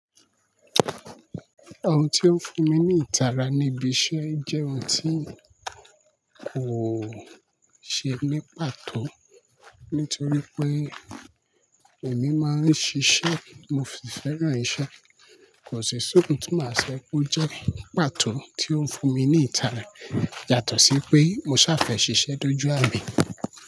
Ohun ti ó ń fún mi ní ìtara níbi iṣẹ́ jẹ́ ohun tí kò ṣe ní pàtó. Nítorí pé èmi máa ń ṣiṣẹ́, mo sì fẹ́ràn iṣẹ́. Kò si sí ohun tí màá ṣo pe ó jẹ́ pàtó tí ó ń fún mi ní ìtara. Yàtọ̀ sí pé mo ṣàfẹ̀ ṣiṣẹ́ dojú amin.